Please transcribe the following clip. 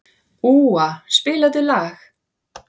Úa, spilaðu lag.